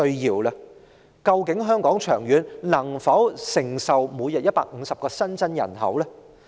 長遠來說，究竟香港能否承受每日150個新增人口呢？